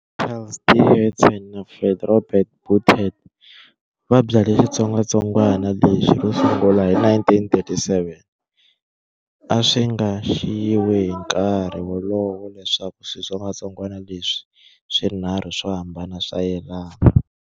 Charles D. Hudson na Fred Robert Beaudette va byale xitsongwatsongwana lexi ro sungula hi 1937. A swi nga xiyiwi hi nkarhi wolowo leswaku switsongwatsongwana leswi swinharhu swo hambana swa yelana.